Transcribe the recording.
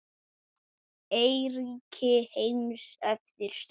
Eyríki heims eftir stærð